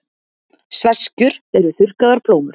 sveskjur eru þurrkaðar plómur